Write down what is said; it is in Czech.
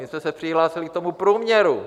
My jsme se přihlásili k tomu průměru.